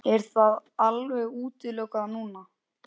Er það alveg útilokað núna?